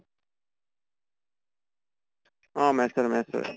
অ maths ৰ maths ৰে